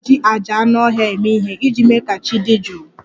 A na-eji àjà anụ ọhịa eme ihe iji mee ka chi dị jụụ